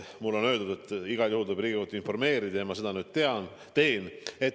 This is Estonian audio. Mulle on öeldud, et igal juhul peab Riigikogu informeerida ja ma seda nüüd teen.